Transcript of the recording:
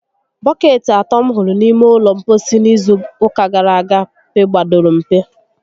Bọkeetị atọ m hụrụ n'ime ụlọ mposi n' izu ụka gara aga pegbadoro mpe